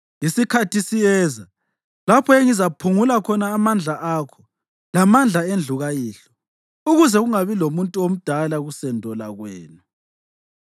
Isikhathi siyeza lapho engizaphungula khona amandla akho lamandla endlu kayihlo, ukuze kungabi lomuntu omdala kusendo lwakwenu